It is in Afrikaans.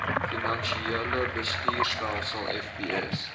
finansiële bestuurstelsel fbs